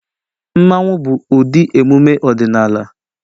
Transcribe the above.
Mmanwu bụ ụdị emume ọdịnala